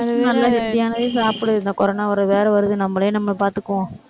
நல்ல healthy யானதே சாப்பிடு. இந்த corona வேற வருது, நம்மளையே நம்ம பார்த்துக்குவோம்.